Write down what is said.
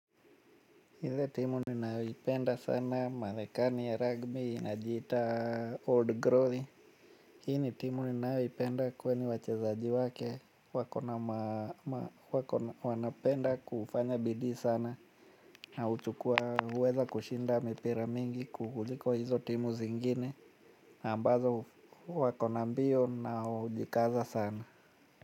Hile timu ninayoipenda sana marekani ya ragbi inajiita old growth hi ni timu ninayoipenda kwani wachezaji wake wako na wanapenda kufanya bidii sana. Na huchukua uweza kushinda mipira mingi kuliko hizo timu zingine ambazo wako na mbio na hujikaza sana.